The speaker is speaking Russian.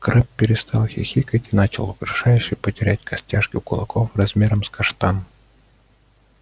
крэбб перестал хихикать и начал угрожающе потирать костяшки кулаков размером с каштан